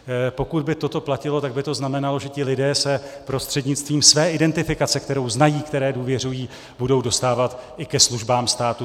Pokud by toto platilo, tak by to znamenalo, že se ti lidé prostřednictvím své identifikace, kterou znají, které důvěřují, budou dostávat i ke službám státu.